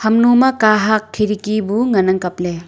hamnu ma kahat khiridki bu ngan ang kap ley.